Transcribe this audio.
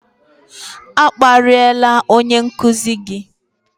A kparịla onye nkuzi gị!